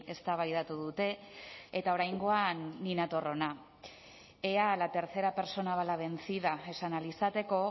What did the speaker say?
eztabaidatu dute eta oraingoan ni nator hona ea a la tercera persona va la vencida esan ahal izateko